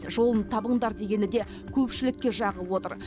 жолын табыңдар дегені де көпшілікке жағып отыр